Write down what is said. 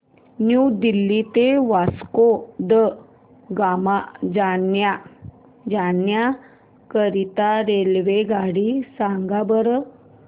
new Delhi ते वास्को द गामा जाण्या करीता रेल्वेगाडी सांगा बरं